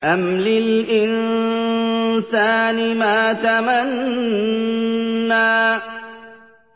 أَمْ لِلْإِنسَانِ مَا تَمَنَّىٰ